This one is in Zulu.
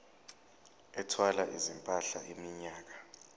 ethwala izimpahla iminyaka